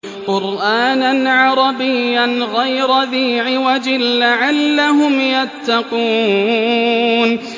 قُرْآنًا عَرَبِيًّا غَيْرَ ذِي عِوَجٍ لَّعَلَّهُمْ يَتَّقُونَ